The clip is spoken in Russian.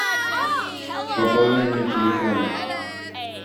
пополнение телефона